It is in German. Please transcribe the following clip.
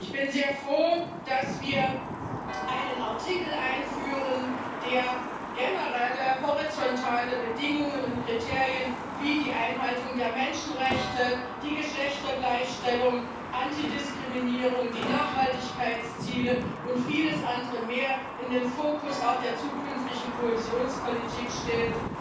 Ich bin sehr froh, dass wir einen Artikel einführen, der generelle horizontale Bedingungen und Kriterien wie die Einhaltung der Menschenrechte, die Geschlechtergleichstellung, Antidiskriminierung, die Nachhaltigkeitsziele und vieles andere mehr in den Fokus auch der zukünftigen Kohäsionspolitik stellt.